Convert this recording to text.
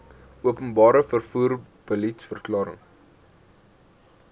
openbare vervoer beliedsverklaring